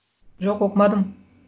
жоқ оқымадым